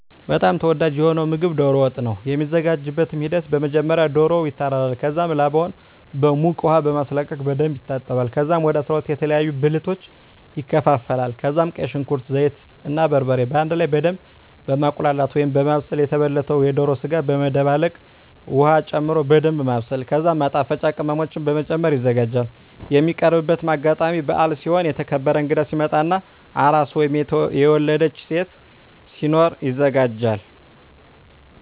በጣም ተወዳጂ የሆነዉ ምግብ ዶሮ ወጥ ነዉ። የሚዘጋጅበትም ሂደት በመጀመሪያ ዶሮዉ ይታረዳል ከዛም ላባዉን በዉቅ ዉሃ በማስለቀቅ በደንብ ይታጠባል ከዛም ወደ 12 የተለያዩ ብልቶች ይከፋፈላል ከዛም ቀይ ሽንኩርት፣ ዘይት እና በርበሬ በአንድ ላይ በደምብ በማቁላላት(በማብሰል) የተበለተዉን የዶሮ ስጋ በመደባለቅ ዉሀ ጨምሮ በደንምብ ማብሰል ከዛም ማጣፈጫ ቅመሞችን በመጨመር ይዘጋጃል። የሚቀርብበትም አጋጣሚ በአል ሲሆን፣ የተከበረ እንግዳ ሲመጣ እና አራስ (የወለደች ሴት) ሲኖር ይዘጋጃል።